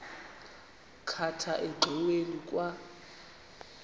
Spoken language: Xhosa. khatha engxoweni kwa